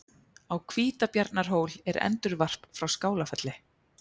Á Hvítabjarnarhól er endurvarp frá Skálafelli.